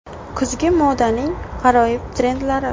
Kuzgi modaning g‘aroyib trendlari.